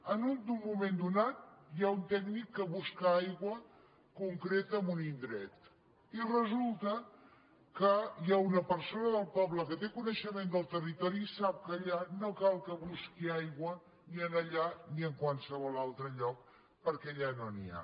en un moment donat hi ha un tècnic que busca aigua concreta en un indret i resulta que hi ha una persona del poble que té coneixement del territori i sap que allà no cal que hi busqui aigua ni allà ni a qualsevol altre lloc perquè allà no n’hi ha